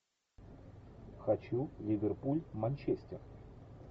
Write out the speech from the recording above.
хочу ливерпуль манчестер